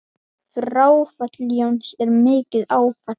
Fráfall Jóns er mikið áfall.